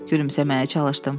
Gülümsəməyə çalışdım.